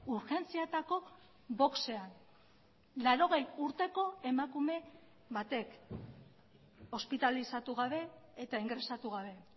urgentzietako boxean laurogei urteko emakume batek ospitalizatu gabe eta ingresatu gabe